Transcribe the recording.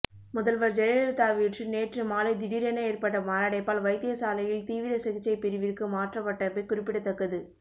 முதல்வர் ஜெயலலிதாவிற்று நேற்று மாலை திடீரென ஏற்பட்ட மாரடைப்பால் வைத்தியசாலையில் தீவிர சிகிச்சை பிரிவிற்கு மாற்றப்பட்டமை குறிப்பிடத்தக்கது